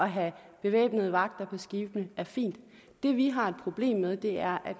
have bevæbnede vagter på skibene er fin det vi har et problem med er at